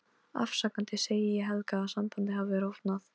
Afsakandi segi ég Helga að sambandið hafi rofnað.